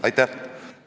Aitäh!